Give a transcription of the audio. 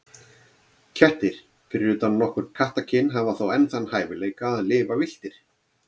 Kettir, fyrir utan nokkur kattakyn, hafa þó enn þann hæfileika að lifa villtir.